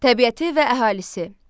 Təbiəti və əhalisi.